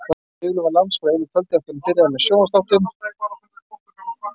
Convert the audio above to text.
Sigurlaug varð landsfræg á einu kvöldi eftir að hún byrjaði með sjónvarpsþáttinn.